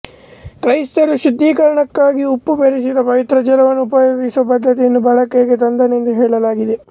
ಕ್ರೈಸ್ತರು ಶುದ್ಧೀಕರಣಕ್ಕಾಗಿ ಉಪ್ಪು ಬೆರಸಿದ ಪವಿತ್ರ ಜಲವನ್ನು ಉಪಯೋಗಿಸುವ ಪದ್ಧತಿಯನ್ನು ಬಳಕೆಗೆ ತಂದನೆಂದು ಹೇಳಲಾಗಿದೆ